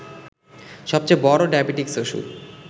সবচেয়ে বড় ডায়াবেটিকস ওষুধ